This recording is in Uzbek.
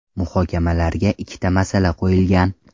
Muhokamalarga ikkita masala qo‘yilgan.